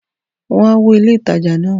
Wọ́n á wó ilé-ìtaja náà.